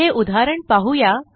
हे उदाहरण पाहू या